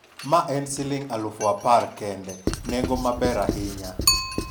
mae en siling' aluf apar kende, nengo maber ahinya